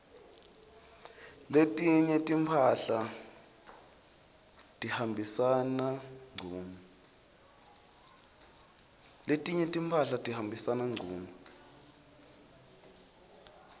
letinye timphahla tihambisana ngcunu